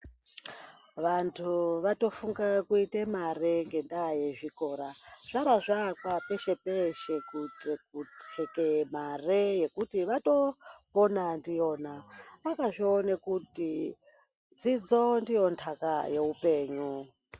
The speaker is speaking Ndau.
Vantu vatofunge kuite mare ngendaa yezvikora. Zvarazvaakwa peshe-peshe, kuitire kuthekeye mare yekuti vatopona ndiyona. Vakazvione kuti dzidzo ndiyo ntaka yeupenyu.